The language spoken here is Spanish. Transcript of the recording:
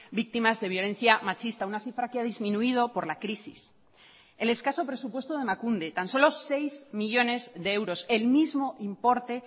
víctimas de violencia machista una cifra que ha disminuido por la crisis el escaso presupuesto de emakunde tan solo seis millónes de euros el mismo importe